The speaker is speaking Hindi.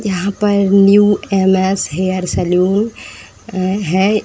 यहाँ पर न्यू एम.एस. हेयर सैल्यून न् है।